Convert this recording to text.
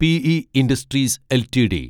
P E industries LTD